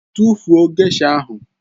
Tụfuo gesha ahụ!